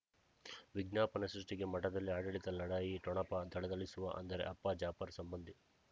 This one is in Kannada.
ವಿಜ್ಞಾಪನೆ ಸೃಷ್ಟಿಗೆ ಮಠದಲ್ಲಿ ಆಡಳಿತ ಲಢಾಯಿ ಠೊಣಪ ಥಳಥಳಿಸುವ ಅಂದರೆ ಅಪ್ಪ ಜಾಫರ್ ಸಂಬಂಧಿ